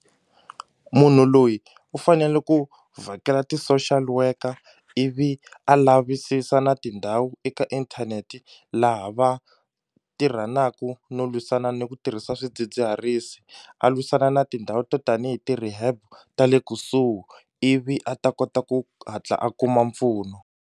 Munhu loyi u fanele ku vhakela ti social worker ivi a lavisisa na tindhawu eka inthaneti laha va tirhaku no lwisana ni ku tirhisa swidzidziharisi a lwisana na tindhawu to tanihi ti-rehab ta le kusuhi ivi a ta kota ku hatla a kuma mpfuno.